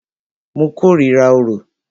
Mo kòrira orò.